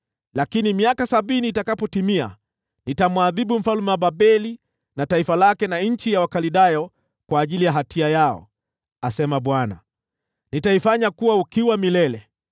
“Lakini miaka sabini itakapotimia, nitamwadhibu mfalme wa Babeli na taifa lake na nchi ya Wakaldayo kwa ajili ya hatia yao,” asema Bwana . “Nitaifanya kuwa ukiwa milele.